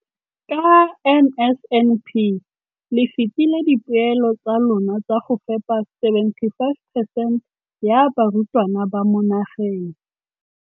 Ka NSNP le fetile dipeelo tsa lona tsa go fepa 75 percent ya barutwana ba mo nageng.